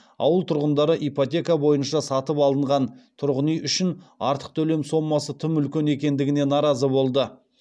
ауыл тұрғындары ипотека бойынша сатып алынған тұрғын үй үшін артық төлем сомасы тым үлкен екендігіне наразы болды